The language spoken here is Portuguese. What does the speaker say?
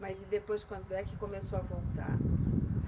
Mas e depois, quando é que começou a voltar?